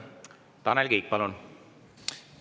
Tanel Kiik, palun!